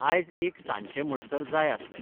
आयज एक सांजचें म्हणसर जाय आसलें